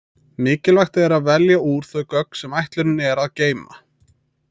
Mikilvægt er að velja úr þau gögn sem ætlunin er að geyma.